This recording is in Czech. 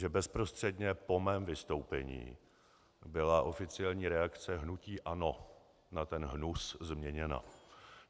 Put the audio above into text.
Že bezprostředně po mém vystoupení byla oficiální reakce hnutí ANO na ten hnus změněna.